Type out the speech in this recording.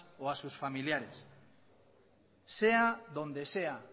o a sus familiares sea donde sea